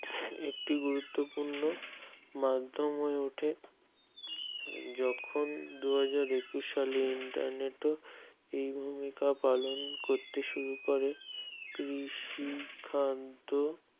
একটি গুরুত্বপূর্ণ মাধ্যম হয়ে ওঠে যখন দুহাজার একুশ সালে internet এ পালন করতে শুরু করে সিদ্ধান্ত